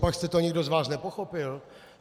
Copak jste to nikdo z vás nepochopil?